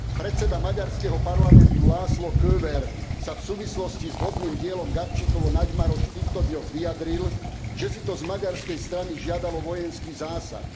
Predseda maďarského parlamentu László Kövér sa v súvislosti s vodným dielom Gabčíkovo Nagymaros v týchto dňoch vyjadril, že si to z maďarskej strany žiadalo vojenský zásah.